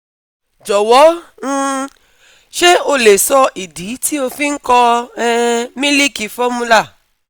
Jọ̀wọ́ um ṣé o lè sọ ìdí tí ó fi ń kọ um mílìkì formula